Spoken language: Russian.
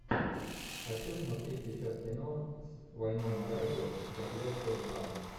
хочу смотреть сейчас кино с вайнона райдер заклятие два